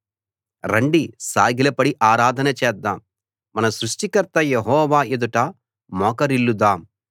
రండి సాగిలపడి ఆరాధన చేద్దాం మన సృష్టికర్త యెహోవా ఎదుట మోకరిల్లుదాం